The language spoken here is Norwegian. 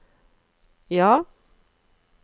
ja